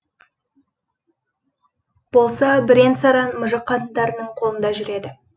болса бірен саран мұжық қатындарының қолында жүреді